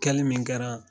Kɛli min kɛra